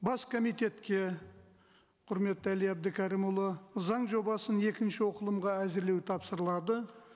бас комитетке құрметті әли әбдікәрімұлы заң жобасын екінші оқылымға әзірлеу тапсырылады